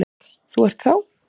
Þú ert þá?